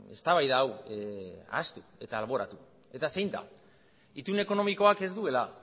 eztabaida hau ahaztu eta alboratu eta zein da itun ekonomikoak ez duela